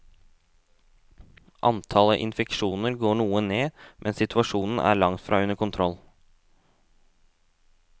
Antallet infeksjoner går noe ned, men situasjonen er langtfra under kontroll.